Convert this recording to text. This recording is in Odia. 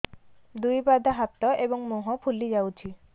ଦୁଇ ପାଦ ହାତ ଏବଂ ମୁହଁ ଫୁଲି ଯାଉଛି